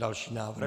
Další návrh.